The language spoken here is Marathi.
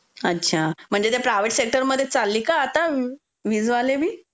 अच्छा. म्हणजे ते प्रायव्हेट सेक्टर मध्येच चालले का आता विजवालेबी?